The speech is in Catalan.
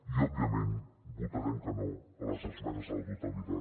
i òbviament votarem que no a les esmenes a la totalitat